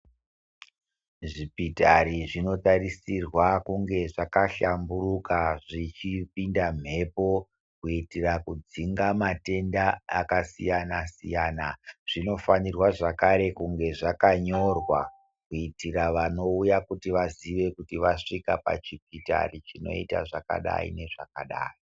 Zvipitari zvinotarisirwa kunge kushamburuka zvichipinda mhepo kuitira kudzinga matenda akasiyana siyana zvinofanirwa zvakare kunge zvakanyorwa kuitira vanouya kutii vazive kuti vasvika pachipitari chinoita zvakadai nezvakadai